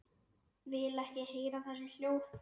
Vil ekki heyra þessi hljóð.